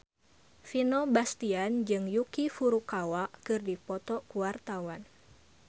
Vino Bastian jeung Yuki Furukawa keur dipoto ku wartawan